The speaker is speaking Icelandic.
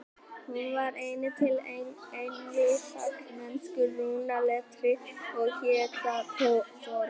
Hún var einnig til í engilsaxnesku rúnaletri og hét þar þorn.